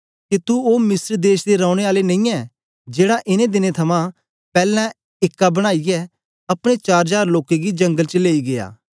के तू ओ मिस्र देश दे रौने आला नेईयैं जेड़ा इनें दिनें थमां पैलैं एका बनाईयै अपने चार जार लोकें गी जंगल च लेई गीया